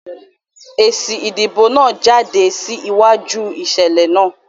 Èsì ìdìbò náà jáde kí sí wáju ìṣẹ̀lẹ̀ náà